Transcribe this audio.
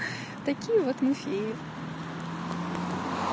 такие вот мы феи